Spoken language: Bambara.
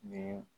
Nin